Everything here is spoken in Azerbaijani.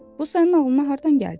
Bu sənin ağlına hardan gəldi?